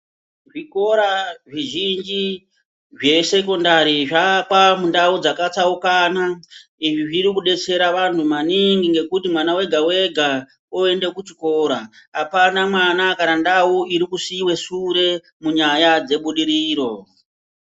Zvikora zvizhinji zvesekondari zvavakwa mundau dzakatsaukana izvi zviri kudetsera antu maningi nekuti mwana ega ega oenda kuchikora apana kana mwana kana ndau iri kusiiwa kumashure munyaya dzebudiriro.